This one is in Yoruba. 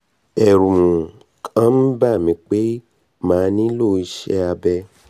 ẹ̀rù um kàn ń bà mí pé màá nílò iṣé abẹ